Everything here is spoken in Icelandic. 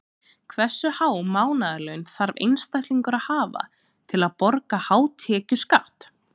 Hversu há mánaðarlaun þarf einstaklingur að hafa til að borga hátekjuskatt?